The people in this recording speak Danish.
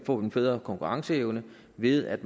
får en bedre konkurrenceevne ved at